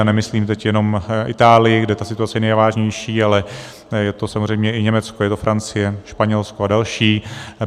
A nemyslím teď jenom Itálii, kde ta situace je nejvážnější, ale je to samozřejmě i Německo, je to Francie, Španělsko a další.